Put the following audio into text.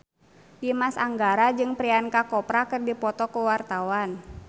Dimas Anggara jeung Priyanka Chopra keur dipoto ku wartawan